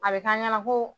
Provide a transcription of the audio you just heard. A bɛ k'an ɲɛna ko